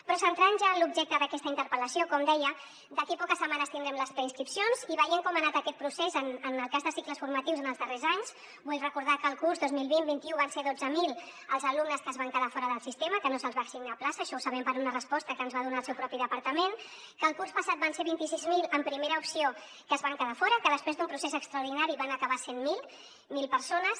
però centrant nos ja en l’objecte d’aquesta interpel·lació com deia d’aquí a poques setmanes tindrem les preinscripcions i veient com ha anat aquest procés en el cas de cicles formatius en els darrers anys vull recordar que el curs dos mil vint vint un van ser dotze mil els alumnes que es van quedar fora del sistema que no se’ls va assignar plaça això ho sabem per una resposta que ens va donar el seu propi departament que el curs passat van ser vint sis mil en primera opció que es van quedar fora que després d’un procés extraordinari van acabar sent mil persones